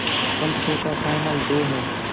कल शो का final day है